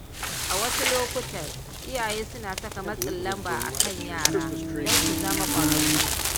A wasu lokuta, iyaye suna saka matsin lamba akan yara don su zama kwararru.